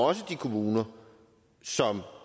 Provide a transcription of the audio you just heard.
også de kommuner som